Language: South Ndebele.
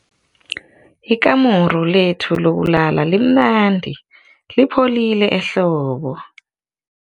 Ikamuru lethu lokulala limnandi lipholile ehlobo.